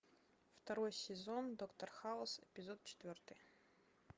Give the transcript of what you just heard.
второй сезон доктор хаус эпизод четвертый